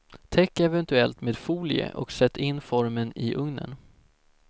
Täck eventuellt med folie och sätt in formen i ugnen.